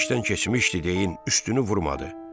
İş işdən keçmişdi deyin üstünü vurmadı.